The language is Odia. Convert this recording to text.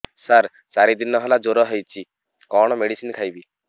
ସାର ଚାରି ଦିନ ହେଲା ଜ୍ଵର ହେଇଚି କଣ ମେଡିସିନ ଖାଇବି